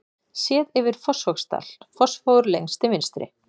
Séð yfir Fossvogsdal, Fossvogur lengst til vinstri.